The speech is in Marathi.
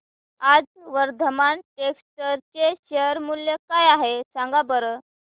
आज वर्धमान टेक्स्ट चे शेअर मूल्य काय आहे सांगा बरं